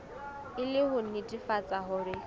e le ho nnetefatsa hore